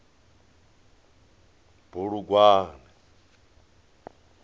bulugwane